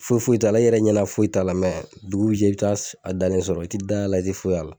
Foyi foyi t'ala i yɛrɛ ɲɛnɛ foyi t'a la mɛ dugu bi jɛ i bi a dalen sɔrɔ i ti da y'a la i ti foyi y'a la